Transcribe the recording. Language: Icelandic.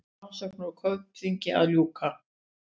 Rannsókn á Kaupþingi að ljúka